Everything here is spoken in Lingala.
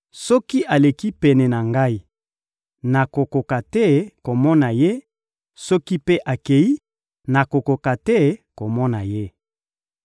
Soki aleki pene na ngai, nakokoka te komona Ye; soki mpe akei, nakokoka te komona Ye.